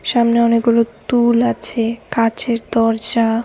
সামনে অনেকগুলো তুল আছে কাঁচের দরজা।